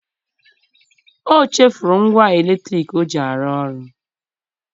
O chefuru ngwa eletriki o ji arụ ọrụ.